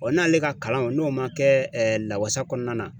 n'ale ka kalan n'o ma kɛ lawasa kɔnɔna na